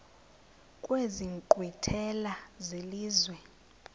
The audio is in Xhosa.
kwezi nkqwithela zelizwe